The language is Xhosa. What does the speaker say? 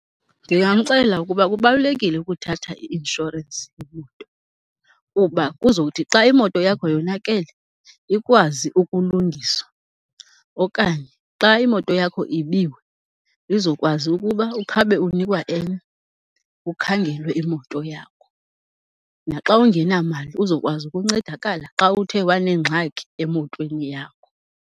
Ndingamxelela ukuba kubalulekile ukuthatha i-inshorensi yemoto kuba kuzothi xa imoto yakho yonakele, ikwazi ukulungiswa. Okanye xa imoto yakho ibiwe, izokwazi ukuba ukhabe unikwa enye kukhangelwe imoto yakho. Naxa ungenamali uzokwazi ukuncedakala xa uthe wanengxaki emotweni yakho.